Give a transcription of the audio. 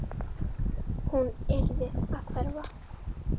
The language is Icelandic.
Hún yrði að hverfa.